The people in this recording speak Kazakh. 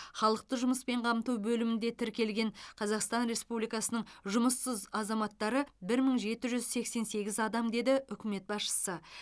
халықты жұмыспен қамту бөлімінде тіркелген қазақстан республикасының жұмыссыз азаматтары бір мың жеті жүз сексен сегіз адам деді үкімет басшысы